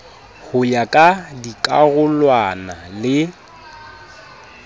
ho ya ka dikarolwana le